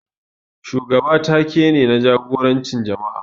Shugaba ta-ke ne, na jagorancin jama'a.